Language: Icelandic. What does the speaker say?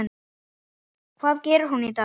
Hvað gerir hún í dag?